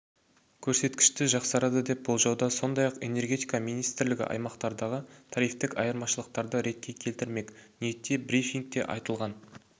көрсеткіші жақсарады деп болжауда сондай-ақ энергетика министрлігі аймақтардағы тарифтік айырмашылықтарды ретке келтірмек ниетте брифингте айтылған